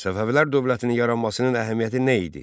Səfəvilər dövlətinin yaranmasının əhəmiyyəti nə idi?